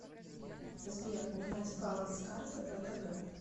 сбер узнать баланс карты втб